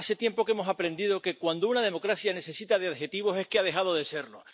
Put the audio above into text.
Hace tiempo que hemos aprendido que cuando una democracia necesita de adjetivos es que ha dejado de serlo.